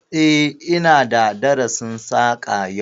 Eh, ina da darasin Saƙa yau